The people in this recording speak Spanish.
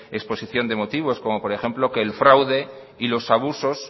exposición de motivos como por ejemplo que el fraude y los abusos